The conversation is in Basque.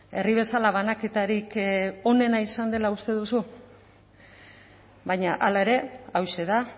herri bezala banaketarik onena izan dela uste duzu baina hala ere hauxe da